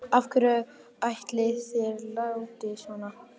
Af hverju ætli þeir láti svona, mennirnir?